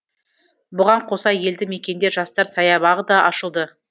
бұған қоса елді мекенде жастар саябағы да ашылды